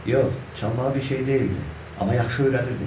Yox, çalmağı bir şey deyildi, amma yaxşı öyrədirdi.